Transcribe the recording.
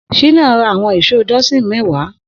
Shina rà awọn ìṣó dọsin mẹ̀wá